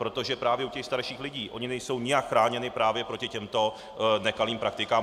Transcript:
Protože právě u těch starších lidí - oni nejsou nijak chráněni právě proti těmto nekalým praktikám.